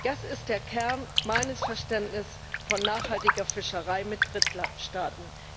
Das ist der Kern meines Verständnisses von nachhaltiger Fischerei mit Drittstaaten.